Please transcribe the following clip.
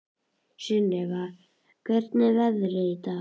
Sunnefa, hvernig er veðrið í dag?